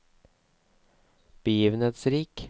begivenhetsrik